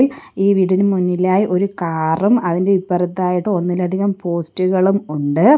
ഈ വീടിനു മുന്നിലായി ഒരു കാറും അതിൻ്റെ ഇപ്പറത്തായിട്ട് ഒന്നിലധികം പോസ്റ്റുകളും ഉണ്ട്.